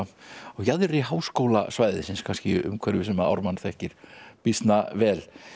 á jaðri háskólasvæðisins kannski umhverfi sem Ármann þekkir býsna vel